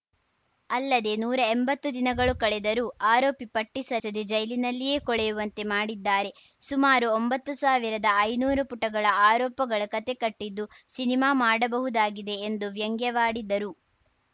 ಅಲ್ಲದೆ ನೂರಾ ಎಂಬತ್ತು ದಿನಗಳು ಕಳೆದರೂ ಆರೋಪಿ ಪಟ್ಟಿಸಲ್ಲಿದೆ ಜೈಲಿನಲ್ಲಿಯೇ ಕೊಳೆಯುವಂತೆ ಮಾಡಿದ್ದಾರೆ ಸುಮಾರು ಒಂಬತ್ತು ಸಾವಿರದ ಐನೂರು ಪುಟಗಳ ಆರೋಪಗಳ ಕತೆ ಕಟ್ಟಿದ್ದು ಸಿನಿಮಾ ಮಾಡಬಹುದಾಗಿದೆ ಎಂದು ವ್ಯಂಗ್ಯವಾಡಿದರು